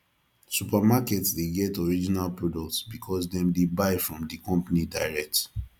supermarket de get original products because dem de buy from di company direct